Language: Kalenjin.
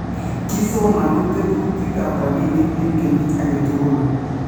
Kisomonu tetutikap rapinik en kenyit agetugul